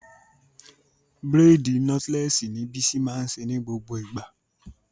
Braidi notlesi ni Bísí máa ń ṣe ní gbogbo ìgbà.